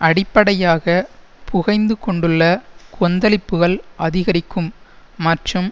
அடிப்படையாக புகைந்து கொண்டுள்ள கொந்தளிப்புக்கள் அதிகரிக்கும் மற்றும்